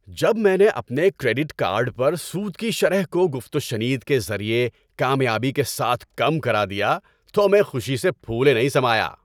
جب میں نے اپنے کریڈٹ کارڈ پر سود کی شرح کو گفت و شنید کے ذریعے کامیابی کے ساتھ کم کرا دیا تو میں خوشی سے پھولے نہیں سمایا۔